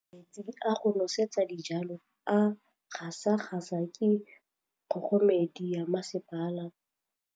Metsi a go nosetsa dijalo a gasa gasa ke kgogomedi ya masepala.